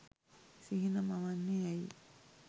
සිහින මවන්නේ ඇයි?